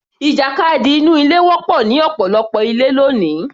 Ìjàkadì inú ilé wọ́pọ̀ ní ọ̀pọ̀lọpọ̀ ilé ní òní